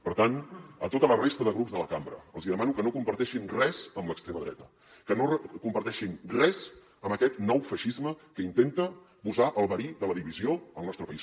per tant a tota la resta de grups de la cambra els hi demano que no comparteixin res amb l’extrema dreta que no comparteixin res amb aquest nou feixisme que intenta posar el verí de la divisió al nostre país